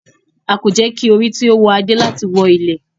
A ko jẹ ki ori ti o wọ ade lati wọ ilẹ.